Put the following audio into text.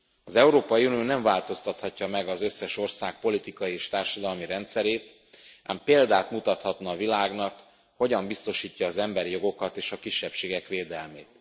Az Európai Unió nem változtathatja meg az összes ország politikai és társadalmi rendszerét, ám példát mutathatna a világnak, hogyan biztosítja az emberi jogokat és a kisebbségek védelmét.